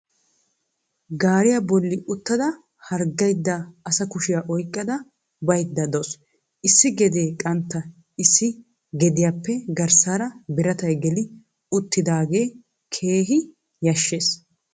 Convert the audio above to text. Gaariyaa boli uttada harggaydda asa kushiya oyqada baydda dawusu. Issi gedee qantta. Issi gediyappe garsaara biratay geli uttidaagee keehi yashees.